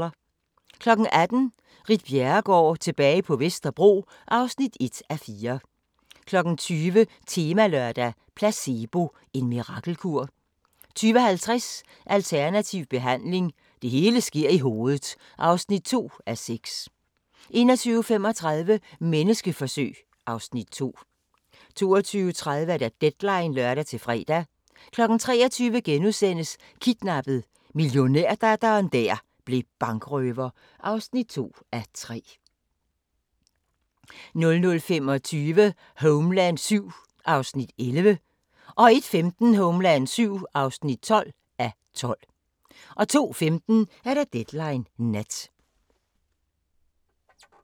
18:00: Ritt Bjerregaard – tilbage til Vesterbro (1:4) 20:00: Temalørdag: Placebo – en mirakelkur? 20:50: Alternativ behandling – det hele sker i hovedet (2:6) 21:35: Menneskeforsøg (Afs. 2) 22:30: Deadline (lør-fre) 23:00: Kidnappet: Milliardærdatteren der blev bankrøver (2:3)* 00:25: Homeland VII (11:12) 01:15: Homeland VII (12:12) 02:15: Deadline Nat